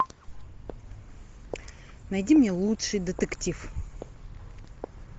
найди мне лучший детектив